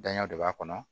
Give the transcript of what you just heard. Danya de b'a kɔnɔ